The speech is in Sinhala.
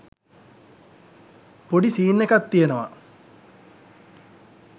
පොඩි සීන් එකක් තියෙනවා.